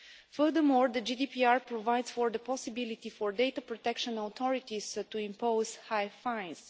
Furthermore, the GDPR provides for the possibility for data protection authorities to impose high fines.